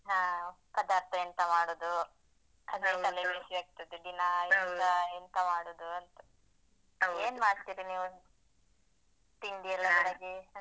ಹಾ, ಪದಾರ್ಥ ಎಂತ ಮಾಡುದು? ಅದೊಂದು ತಲೆಬಿಸಿ ಆಗ್ತದೆ ದಿನಾಲು ಎಂತ ಎಂತ ಮಾಡುದು ಅಂತ. ಏನ್ ಮಾಡ್ತೀರಿ ನೀವು? ತಿಂಡಿ ಎಲ್ಲ ಬೆಳಿಗ್ಗೆ?